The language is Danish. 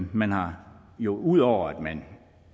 man har jo ud over at man